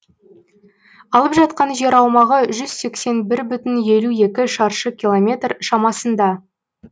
алып жатқан жер аумағы жүз сексен бір бүтін елу екі шаршы километр шамасында